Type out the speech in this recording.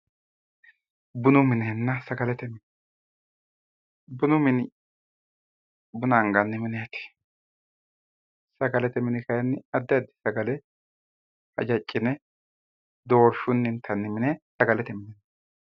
Bunu minenna sagalete mine, bunu mini buna anganni mineti, sagalete mini kayinni addi addi sagale hajacine dorshunni intanni mine sagalete mine